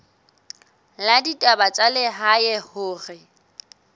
la ditaba tsa lehae hore